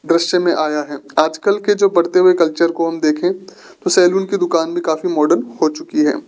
दृश्य में आया है आज कल के जो बढ़ते हुए कल्चर को हम देखें तो सैलून की दुकान भी काफी मॉडर्न हो चुकी है।